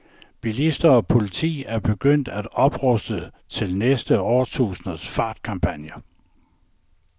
Bilister og politi er begyndt at opruste til næste årtusinds fartkampagner.